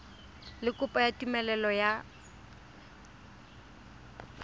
le kopo ya tumelelo ya